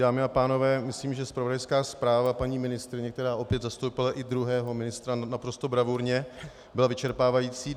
Dámy a pánové, myslím, že zpravodajská zpráva paní ministryně, která opět zastoupila i druhého ministra naprosto bravurně, byla vyčerpávající.